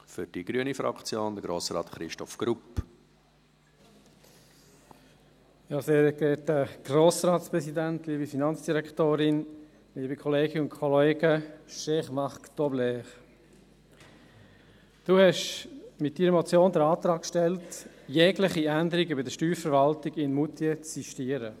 Cher Marc Tobler, Sie haben mit Ihrer Motion den Antrag gestellt, jegliche Änderungen bei der Steuerverwaltung in Moutier zu sistieren.